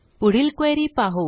पुढील क्वेरी पाहू